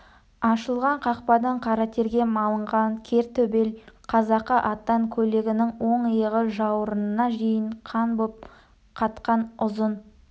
ашылған қақпадан қара терге малынған кер төбел қазақы аттан көйлегінің оң иығы жауырынына дейін қан боп қатқан ұзын